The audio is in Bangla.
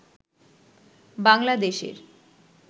বাংলাদেশের